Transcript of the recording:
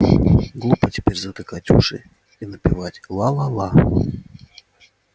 глупо теперь затыкать уши и напевать ла ла ла